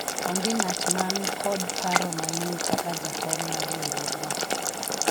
onge ng'at man kod paro maliwu kaka jakom mar riwruogno